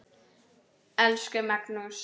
Elsku Magnús.